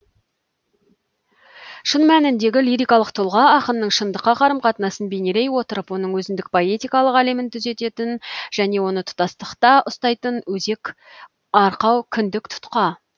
шын мәніндегі лирикалық тұлға ақынның шындыққа қарым қатынасын бейнелей отырып оның өзіндік поэтикалық әлемін түзетін және оны тұтастықта ұстайтын өзек арқау кіндік тұтқа